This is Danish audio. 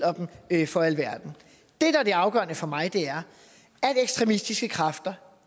for alverden det afgørende for mig er at ekstremistiske kræfter